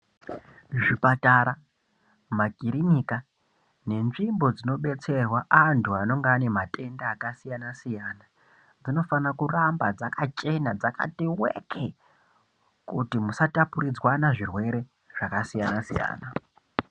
Zvipatara makiriniki nenzvimbo dzinodesererwa vanhu antu anenge ane matenda akasiyana siyana dzinofana kuramba dzakachena dzakati weke kuti musapuridzwana zvirwere zvakasiyana siyana.